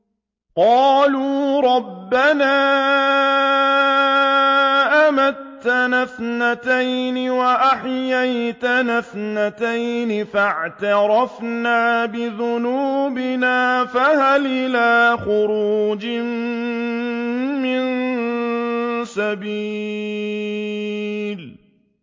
قَالُوا رَبَّنَا أَمَتَّنَا اثْنَتَيْنِ وَأَحْيَيْتَنَا اثْنَتَيْنِ فَاعْتَرَفْنَا بِذُنُوبِنَا فَهَلْ إِلَىٰ خُرُوجٍ مِّن سَبِيلٍ